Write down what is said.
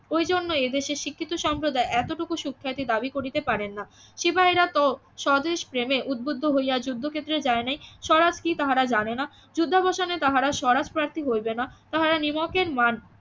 ওই জন্য এদেশে শিক্ষিত সম্প্রদায় এতটুকু সুখ্যাতি দাবি করিতে পারেন না সিপাহিরা তো স্বদেশ প্রেমে উদ্বুদ্ধ হইয়া যুদ্ধ ক্ষেত্রে যায় নাই স্বরাজ কি তাহারা জানে না যুদ্ধবসানে তাহারা স্বরাজ প্রার্থী হইবে না তাহারা নিমকের মান